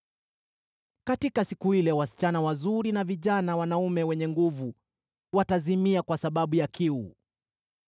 “Katika siku ile “wasichana wazuri na vijana wanaume wenye nguvu watazimia kwa sababu ya kiu.